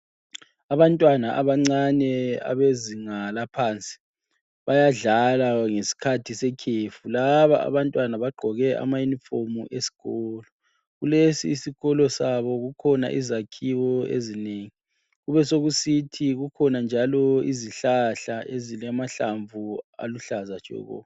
Abantwana abancane abezinga laphansi bayadlala ngesikhathi sekhefu .Laba abantwana bagqoke ama uniform eskolo. Kulesi isikolo sabo kukhona izakhiwo ezinengi ,besekusithi kukhona njalo izihlahla ezilamahlamvu aluhlaza tshoko.